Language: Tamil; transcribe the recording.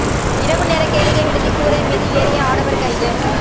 இரவுநேர கேளிக்கை விடுதி கூரை மீது ஏறிய ஆடவர் கைது